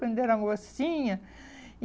Quando era mocinha. E